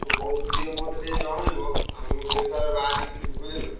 କୋଉଦିନ ଯିବ ମତେ ଟିକେ ଜଣେଇବ, ଆଉ ମୁଁ ସେଇ ହିସାବରେ ବାହାରିକି ଥିବି ବୁଝିଲନା?